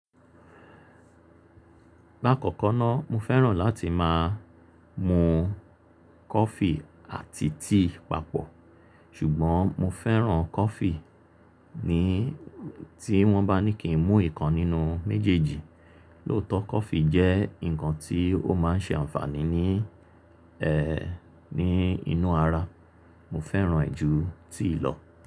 La kọkọ ná mo fẹ́ràn láti máa mu coffee àti tea papọ̀, ṣùgbọ́n mo fẹ́ràn coffee ni tí wọ́n bá ní kí n mu ìkan nínú méjèèjì. Lóòtọ́ coffee jẹ́ nǹkan tí ó máa n ṣe ànfàní ní ẹ́, ní inú ara, mo fẹ́ràn ẹ̀ ju tea lọ.